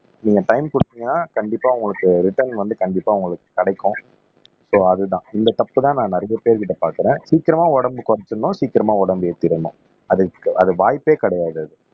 நீங்க டைம் குடுத்தீங்கன்னா கண்டிப்பா உங்களுக்கு ரிட்டர்ன் வந்து கண்டிப்பா உங்களுக்கு கிடைக்கும் சோ அதுதான் இந்த தப்பு தான் நான் நிறைய பேர்கிட்ட பாக்குறேன் சீக்கிரமா உடம்பு குறைச்சிடணும் சீக்கிரமா உடம்பு ஏத்திரணும் அதுக்கு அது வாய்ப்பே கிடையாது